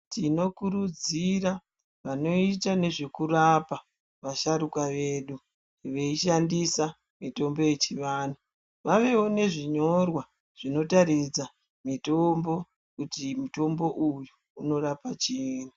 Tinokurudzira vanoita nezvekurapa vasharuka vedu veishandisa mutombo yechivantu vawewo nezvinyorwa zvinotaridza kuti mutombo uyu unorapa chiini.